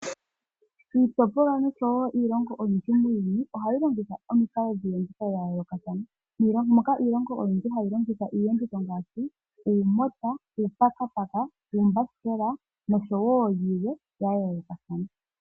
Iitopolwa noshowo iilongo oyindji muuyuni ohayi longitha omikalo dhiiyenditho ya yoolokathana moka iilongo oyindji hayi longitha iiyenditho ngaashi uumota, uupakapaka, uumbasikela noshowo yilwe ya yoolokathana.